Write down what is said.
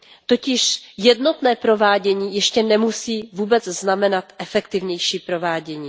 Totiž jednotné provádění ještě nemusí vůbec znamenat efektivnější provádění.